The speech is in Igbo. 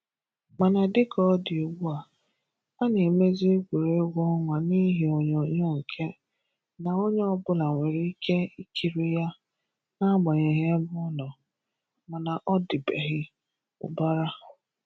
Mana dịka ọ dị ugbua, a na-emezi egwuregwu ọnwa n'ihe onyonyo nke na onye ọbụla nwere ike ikiri ya n'agbanyeghị ebe ọ nọ, mana ọ dịbeghị ụbara.